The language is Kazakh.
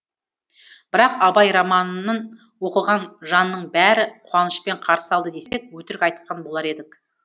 бірақ абай романын оқыған жанның бәрі қуанышпен қарсы алды десек өтірік айтқан болар едік